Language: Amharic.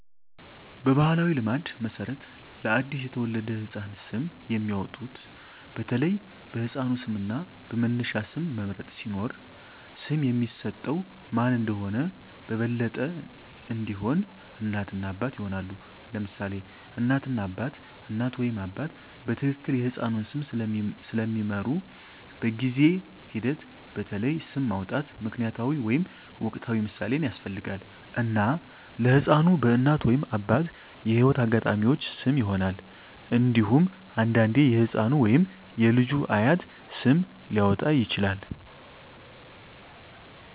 በባሕላዊ ልማድ መሠረት ለአዲስ የተወለደ ህፃን ስም የሚያወጡት በተለይ በሕፃኑ ስም እና በመነሻ ስም መምረጥ ሲኖር፣ ስም የሚሰጠው ማን እንደሆነ በበለጠ እንዲሆን፣ እናት እና አባት ይሆናሉ: ለምሳሌ እናት እና አባት: እናት ወይም አባት በትክክል የሕፃኑን ስም ስለሚምሩ፣ በጊዜ ሂደት በተለይ ስም ማውጣት ምክንያታዊ ወይም ወቅታዊ ምሳሌን ያስፈልጋል፣ እና ለሕፃኑ በእናት ወይም አባት የህይወት አጋጣሚዎች ስም ይሆናል። እንዴሁም አንዳንዴ የህፃኑ ወይም የልጁ አያት ስም ሊያወጣ ይችላል።